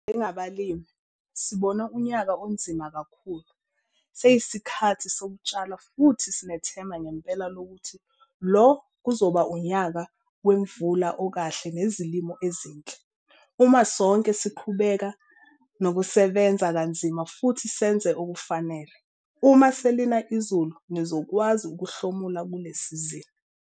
Njengabalimi, sibone unyaka onzima kakhulu - seyisikhathi sokutshala futhi sinethemba ngempela lokuthi lo kuzoba unyaka wemvula ekahle nezilimo ezinhle. Uma sonke siqhubeka nokusebenza kanzima futhi senze okufanele, uma selina izulu nizokwazi ukuhlomula kule sizini.